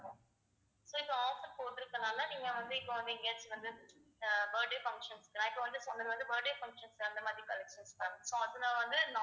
so இப்ப offer போட்டிருக்கறதுனால நீங்க வந்து இப்ப வந்து எங்கையாச்சு வந்து ஆஹ் birthday function நான் இப்ப வந்து சொன்னது வந்து birthday function க்கு அந்த மாதிரி collections ma'am so அது நான் வந்து